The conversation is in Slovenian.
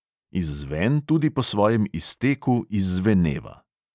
Izzven tudi po svojem izteku izzveneva.